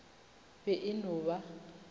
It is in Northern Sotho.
be e e no ba